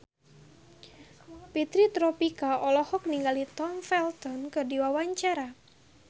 Fitri Tropika olohok ningali Tom Felton keur diwawancara